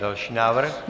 Další návrh.